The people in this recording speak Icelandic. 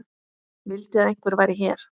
Vildi að einhver væri hér.